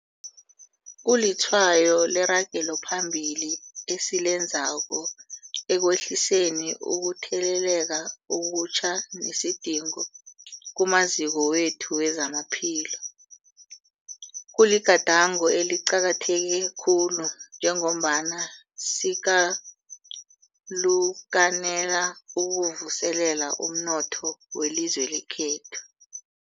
Kulitshwayo leragelo phambili esilenzako ekwehliseni ukutheleleka okutjha nesidingo kumaziko wethu wezamaphilo. Kuligadango eliqakatheke khulu njengombana sikalukanela ukuvuselela umnotho welizwe lekhethu.